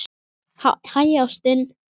Hæ, ástin.